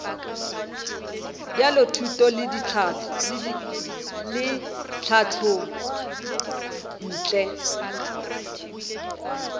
bja thuto le tlhahlo ntle